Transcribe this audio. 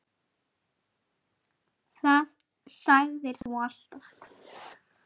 Það sagðir þú alltaf.